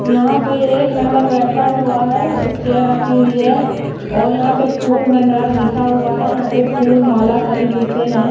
यहां पे एक मेंबर बैठा हुआ है एक चेयर रखी हुई है और यहां पे फूल भंडार लिखा हुआ है यहां पे फूल माला सभी बिकते हैं।